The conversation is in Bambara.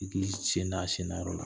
I k'i sen da, a sen nayɔrɔ la.